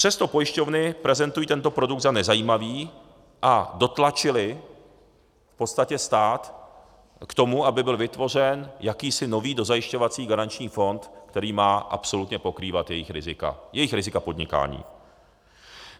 Přesto pojišťovny prezentují tento produkt za nezajímavý a dotlačily v podstatě stát k tomu, aby byl vytvořen jakýsi nový dozajišťovací garanční fond, který má absolutně pokrývat jejich rizika - jejich rizika podnikání.